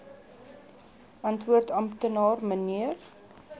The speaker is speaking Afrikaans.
antwoord amptenaar mnr